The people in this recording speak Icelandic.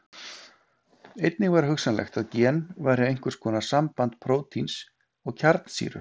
Einnig var hugsanlegt að gen væru einhvers konar samband prótíns og kjarnsýru.